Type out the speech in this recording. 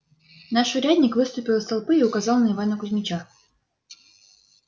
наш урядник выступил из толпы и указал на ивана кузмича